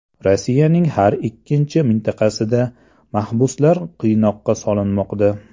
Rossiyaning har ikkinchi mintaqasida mahbuslar qiynoqqa solinmoqda.